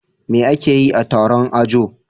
Me akeyi a Taron ajo